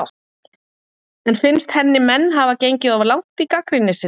En finnst henni menn hafa gengið of langt í gagnrýni sinni?